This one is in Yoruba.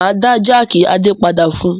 Máa dá jákì Adé padà fún un.